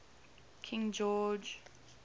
king george